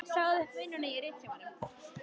Ég sagði upp vinnunni á Ritsímanum.